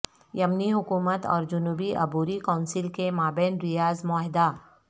یمنی حکومت اور جنوبی عبوری کونسل کے مابین ریاض معاہدہ